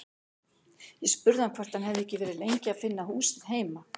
Ég spurði hann hvort hann hefði ekki verið lengi að finna húsið heima.